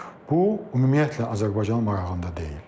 Bu ümumiyyətlə Azərbaycanın marağında deyil.